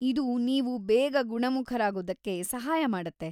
ಇದು ನೀವು ಬೇಗ ಗುಣಮುಖರಾಗೋದಕ್ಕೆ ಸಹಾಯ ಮಾಡುತ್ತೆ.